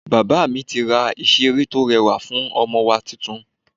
Bàbá mi ti rá ìsere to rẹwa fún ọmọ wá tuntun